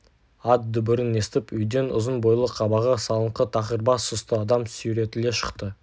ат дүбірін естіп үйден ұзын бойлы қабағы салыңқы тақыр бас сұсты адам сүйретіле шықты